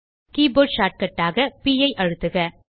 keyboard shortcut ஆக ப் ஐ அழுத்துக